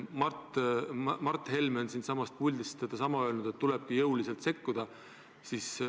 Mart Helme on siitsamast puldist öelnud, et tulebki jõuliselt sekkuda.